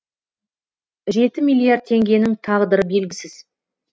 жеті миллиард теңгенің тағдыры белгісіз